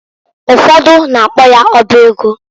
Ufodu na-akpo ya ọba ego.